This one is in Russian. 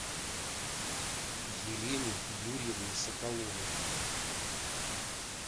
елене юрьевне соколовой